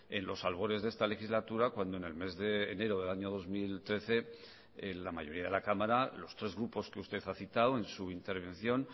en los albores de esta legislatura cuando en el mes de enero de año dos mil trece la mayoría de la cámara los tres grupos que usted ha citado en su intervención